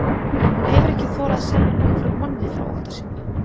Hún hefur ekki þorað að segja nokkrum manni frá ótta sínum.